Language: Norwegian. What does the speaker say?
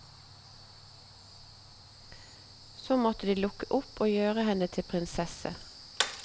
Så måtte de lukke opp og gjøre henne til prinsesse.